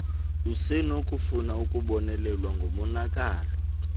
usenokufuna ukubonelelwa ngomonakalo